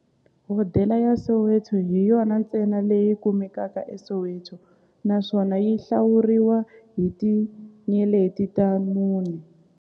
Hodela ya Soweto hi yona ntsena leyi kumekaka eSoweto, naswona yi hlawuriwa hi tinyeleti ta mune.